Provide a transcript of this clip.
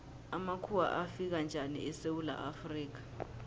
amakhuwa afika njani esewula afrika